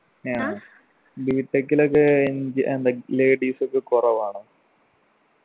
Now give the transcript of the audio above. b. tech ഇലൊക്കെ engi എന്താ ladies ഒക്കെ കൊറവാണോ?